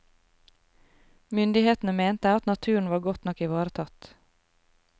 Myndighetene mente at naturen var godt nok ivaretatt.